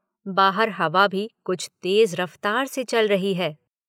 बाहर हवा भी कुछ तेज रफ्तार से चल रही है।